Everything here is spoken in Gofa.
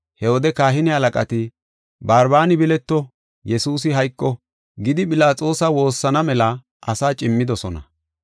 He wode kahine halaqati, “Barbaani bileto, Yesuusi hayqo” gidi Philaxoosa woossana mela asaa cimmidosona.